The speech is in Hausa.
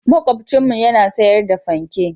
Makwabcinmu yana sayar da fanke.